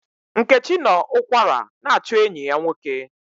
Nkechi nọ ụkwara na-achụ enyi ya nwoke.